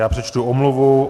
Já přečtu omluvu.